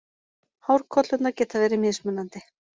Hárkollurnar geta verið mismunandi.